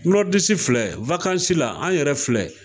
Nɔridisi filɛ wakansi la an yɛrɛ filɛ